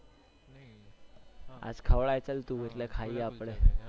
આજ ખવડાય તું ચાલ આજે ખાઈએ